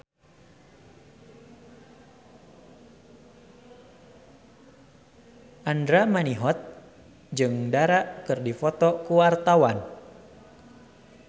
Andra Manihot jeung Dara keur dipoto ku wartawan